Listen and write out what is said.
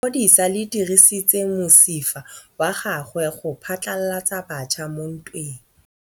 Lepodisa le dirisitse mosifa wa gagwe go phatlalatsa batšha mo ntweng.